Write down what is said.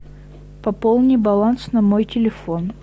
пополни баланс на мой телефон